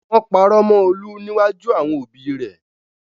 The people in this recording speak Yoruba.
Wọ́n parọ́ mọ Olú níwájú àwọn òbíi rẹ.